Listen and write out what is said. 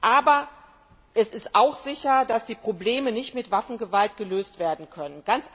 Aber es ist auch sicher, dass die Probleme nicht mit Waffengewalt gelöst werden können.